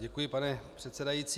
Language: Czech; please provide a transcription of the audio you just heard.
Děkuji, pane předsedající.